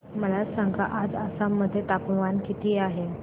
मला सांगा आज आसाम मध्ये तापमान किती आहे